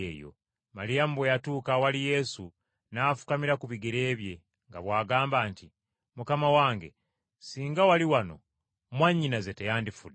Maliyamu bwe yatuuka awali Yesu n’afukamira ku bigere bye, nga bw’agamba nti, “Mukama wange, singa wali wano mwannyinaze teyandifudde.”